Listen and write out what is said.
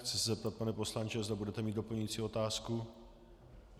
Chci se zeptat, pane poslanče, zda budete mít doplňující otázku.